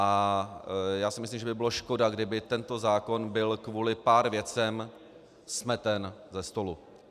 A já si myslím, že by bylo škoda, kdyby tento zákon byl kvůli pár věcem smeten ze stolu.